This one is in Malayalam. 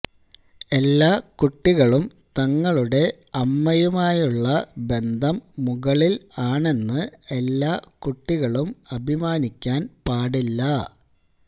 എല്ലാ കുട്ടികളും തങ്ങളുടെ അമ്മയുമായുള്ള ബന്ധം മുകളിൽ ആണെന്ന് എല്ലാ കുട്ടികളും അഭിമാനിക്കാൻ പാടില്ല